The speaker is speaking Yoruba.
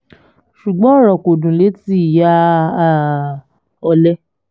ṣùgbọ́n ọ̀rọ̀ kò dùn lẹ́nu ìyá um ọ̀lẹ